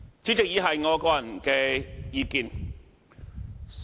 主席，以下是我個人的意見。